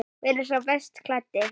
Hver er sá best klæddi?